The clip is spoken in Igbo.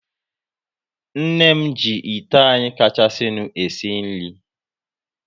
Nne m ji ite anyị kachasinu e si nri